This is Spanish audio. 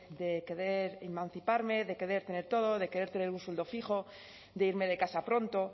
de querer emanciparme de querer tener todo de querer tener un sueldo fijo de irme de casa pronto